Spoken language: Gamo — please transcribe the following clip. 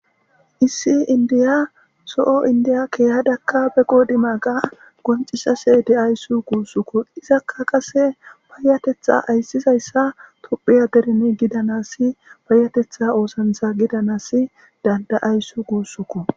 Issi indiya so7o indiya keehadakka beqo dima ga goncisase de7ayssu guussukku izakka qase payatetha ayssizayssa tuphiya derni gidanasi payatetha oosantha gidanas dandayayssu guussuku